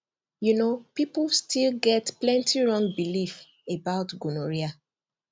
you know people still get plenty wrong belief about gonorrhea